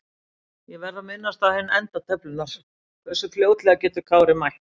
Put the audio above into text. Ég verð að minnast á hinn enda töflunnar- Hversu fljótlega getur Kári mætt?